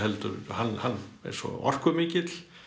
hann er svo orkumikill